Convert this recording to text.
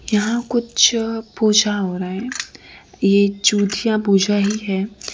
यहां कुछ पूजा हो रहा है ये जूतियां पूजा ही है।